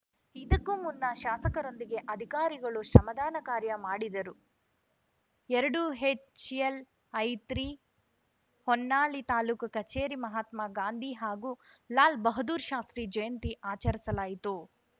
ಇದಕ್ಕೂ ಮುನ್ನ ಶಾಸಕರೊಂದಿಗೆ ಅಧಿಕಾರಿಗಳು ಶ್ರಮದಾನ ಕಾರ್ಯ ಮಾಡಿದರು ಎರಡುಎಚ್‌ಎಲ್‌ಐತ್ರೀ ಹೊನ್ನಾಳಿ ತಾಲೂಕು ಕಚೇರಿ ಮಹಾತ್ಮ ಗಾಂಧಿ ಹಾಗೂ ಲಾಲ್‌ ಬಹದ್ದೂರ್‌ ಶಾಸ್ತ್ರಿ ಜಯಂತಿ ಆಚರಿಸಲಾಯಿತು